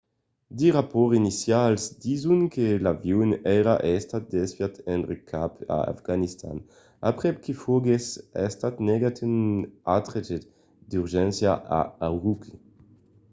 de rapòrts inicials dison que l'avion èra estat desviat enrè cap a afganistan aprèp que foguèsse estat negat un aterratge d'urgéncia a ürümqui